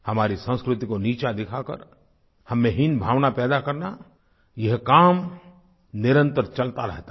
हमारी संस्कृति को नीचा दिखा कर हम में हीनभावना पैदा करना यह काम निरंतर चलता रहता था